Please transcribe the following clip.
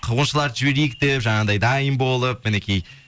қуғыншыларды жіберейік деп жаңағыдай дайын болып мінекей